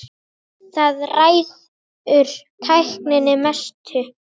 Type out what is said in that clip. Þar ræður tæknin mestu.